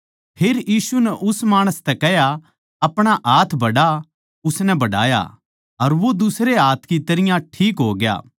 फेर यीशु नै उस माणस तै कह्या अपणा हाथ बढ़ा उसनै बढ़ाया अर वो दुसरे हाथ की तरियां ठीक होग्या